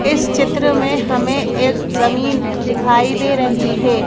इस चित्र में हमें एक जमीन दिखाई दे रही है।